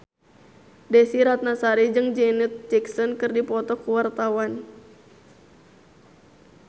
Desy Ratnasari jeung Janet Jackson keur dipoto ku wartawan